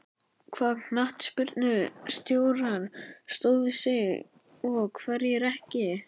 Hvaða knattspyrnustjórar stóðu sig og hverjir ekki?